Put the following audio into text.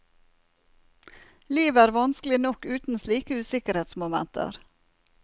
Livet er vanskelig nok uten slike usikkerhetsmomenter.